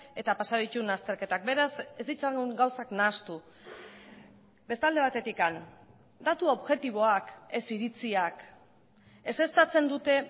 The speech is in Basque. eta pasa dituen azterketak beraz ez ditzagun gauzak nahastu beste alde batetik datu objektiboak ez iritziak ezeztatzen dute